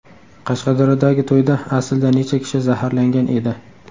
Qashqadaryodagi to‘yda aslida necha kishi zaharlangan edi?.